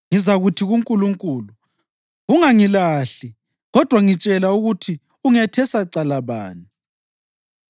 Ngizakuthi kuNkulunkulu: Ungangilahli, kodwa ngitshela ukuthi ungethesa cala bani.